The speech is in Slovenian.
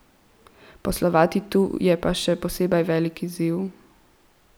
Poslovati tu je pa še posebej velik izziv.